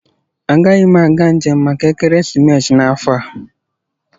Agaghị m aga njem maka ekeresimesi n'afọ a